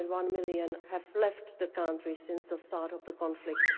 1.1 million have left the country since the start of the conflict.